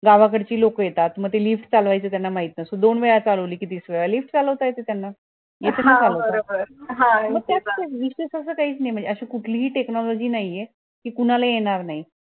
गावाकडची लोक येतात म leaft ते चालवयच त्यांना माहित नसत दोन वेळा चालवली कि तिसऱ्या वेळा leaft चालवायला येते त्यांना येते ना चालवता त्यात विशेष असं काहीच नई म्हणजे अशी कुठली च technology नाहीये कि कुणाला येणार नई